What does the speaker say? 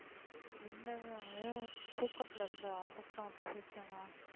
இல்ல இல்ல தூக்கத்துல இருந்த நான் பேசுவேனா